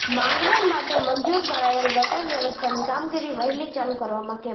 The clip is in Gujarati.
માંગરોળ માટે મંજૂર કરાયેલ ગટર વ્યવસ્થાની કામગીરી વહેલી ચાલુ કરાવવા કેમ